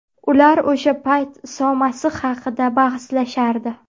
Ular o‘sha payt Iso Masih haqida bahslashardi.